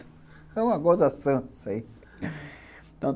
É uma gozação isso aí.